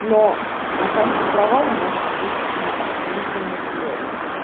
но на каждый провал может быть и охранительных взлёт